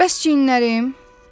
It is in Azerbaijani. Bəs çiyinlərim?